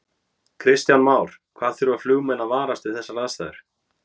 Kristján Már: Hvað þurfa flugmenn að varast við þessar aðstæður?